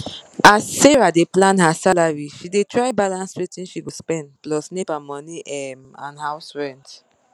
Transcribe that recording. as sarah dey plan her salary she dey try balance wetin she go spend plus nepa money um and house rent